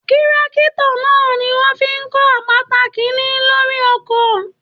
Tírákítọ̀ náà ní wọn fí n kò àpáta kíri lórí oko náà.